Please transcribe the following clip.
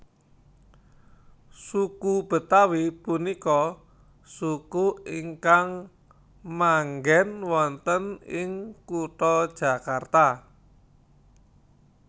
Suku Betawi punika suku ingkang manggen wonten ing kutha Jakarta